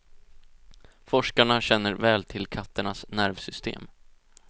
Forskarna känner väl till katternas nervsystem.